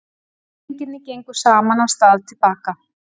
Drengirnir gengu saman af stað til baka.